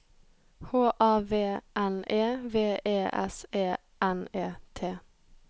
H A V N E V E S E N E T